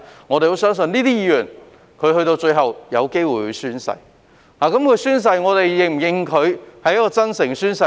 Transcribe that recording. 我們相信這些議員最後也有機會宣誓，而當他們宣誓時，我們是否認同他們是真誠地宣誓呢？